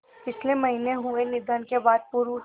पिछले महीने हुए निधन के बाद पूर्व